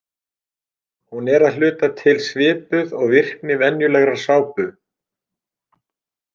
Hún er að hluta til svipuð og virkni venjulegrar sápu.